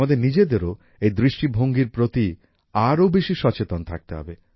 আমাদের নিজেদেরও এই দৃষ্টিভঙ্গির প্রতি আরো বেশি সচেতন থাকতে হবে